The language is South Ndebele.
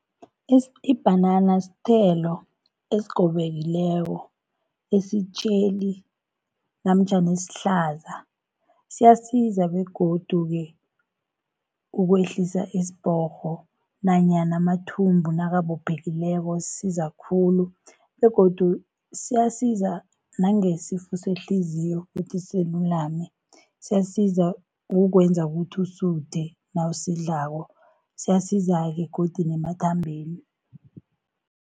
Ibhanana sithelo esigobekileko, esitjheli namtjhana esihlaza. Siyasiza begodu-ke ukwehlisa isibhorho nanyana amathumbu nakabophekileko, sisiza khulu, begodu siyasiza nangesifo sehliziyo ukuthi silulame. Siyasiza ukukwenza ukuthi usuthe nawusidlako, siyasiza begodu nemathambeni.